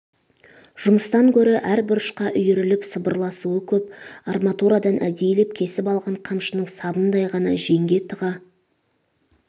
жұмыстан гөрі әр бұрышқа үйіріліп сыбырласуы көп арматурадан әдейілеп кесіп алған қамшының сабындай ғана жеңге тыға